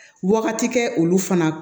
Wagati kɛ olu fana